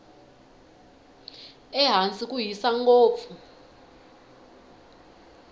ehansi ku hisa ngopfu